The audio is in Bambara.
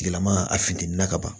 Tigilama a finteni na ka ban